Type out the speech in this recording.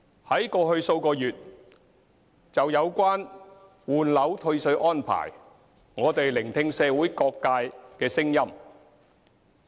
在過去數月就有關換樓退稅安排，我們聆聽社會各界聲音。